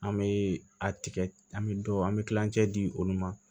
An bɛ a tigɛ an bɛ dɔw an bɛ kilancɛ di olu ma